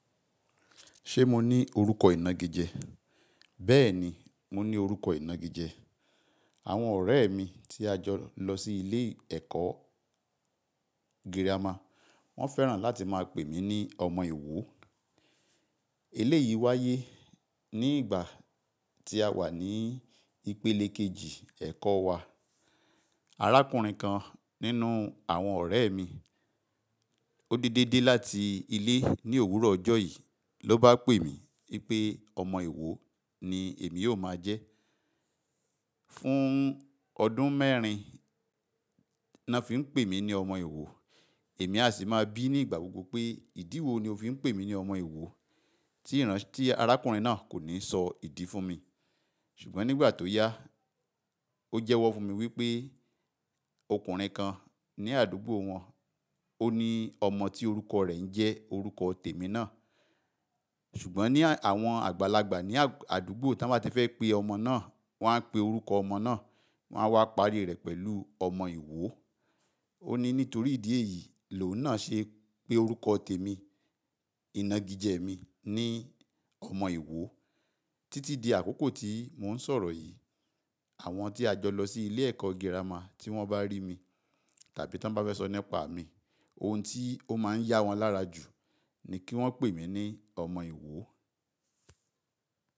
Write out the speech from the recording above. Ṣé mo ní orúkọ ìnagijẹ? Bẹ́ẹ̀ ni, mo ní orúkọ ìnagijẹ. Àwọn ọ̀rẹ́ mi tí a jọ lọ sí ilé ẹ̀kọ́ girama, wọ́n fẹ́ràn láti máa pè mí ní ọmọ ìwo. Eléyìí wáyé ní ìgbà tí a wà ní ìpele kejì ẹ̀kọ́ wa. Arákùnrin kan nínú àwọn ọ̀rẹ́ mi, ó dédé dé láti ilé ní òwúrọ̀ ọjọ́ yìí ló bá pè mí wípé ọmọ ìwo ni èmi yóò máa jẹ́. Fún ọdún mẹ́rin ni wọ́n fi ń pè mí ní ọmọ ìwo, èmi a sì máa bí nígbà gbogbo pé ìdí wo ni o fi ń pè mí ní ọmọ ìwo tí arákùnrin náà kò ní sọ ìdí fún mi. Ṣùgbọ́n nígbà tó yá, ó jẹ́wọ́ fún mi wípé ọkùnrin kan ní àdúgbò wọn, ó ní ọmọ tí orúkọ rẹ̀ ń jẹ́ orúkọ tèmi náà. Ṣùgbọ́n ní àwọn àgbàlagbà ní àdúgbò tí wọ́n bá ti fẹ́ pé ọmọ náà, wọ́n á pè orúkọ ọmọ náà, wọ́n á wá parí rẹ̀ pẹ̀lú ọmọ ìwo. Ó ní nítorí ìdí èyí ló náà ṣe pé orúkọ tèmi, ìnagijẹ mi ni ọmọ ìwo. Títí di àkókò tí mò ń sọ̀rọ̀ yìí, àwọn tí a jọ lọ sí ilé ẹ̀kọ́ girama tí wọ́n bá rí mi tàbí tí wọ́n bá fẹ́ sọ nípa mi, ohun tí ó máa ń yá wọn lára jù ni kí wọ́n pè mí ní ọmọ ìwo.